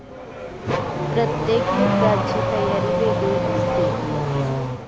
प्रत्येक युद्धाची तयारी वेगळी असते.